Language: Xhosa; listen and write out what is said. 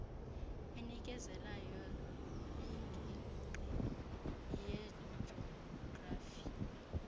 enikezelayo yingingqi yejografi